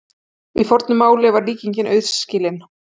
Í fornu máli var líkingin auðskilin.